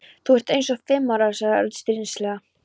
Þú ert eins og fimm ára sagði Örn stríðnislega.